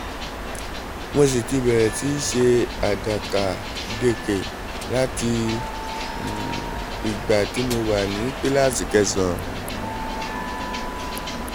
mo sì ti bẹ̀rẹ̀ sí í ṣe àdàkàdekè láti ìgbà tí mo wà ní kíláàsì kẹsàn-án